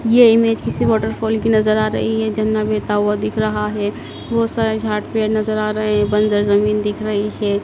ये इमेज किसी वॉटरफॉल की नजर आ रही है झरना बहता हुआ दिख रहा है बहुत सारे झाड़ पेड़ नजर आ रहे हैं बंजर जमीन दिख रही है।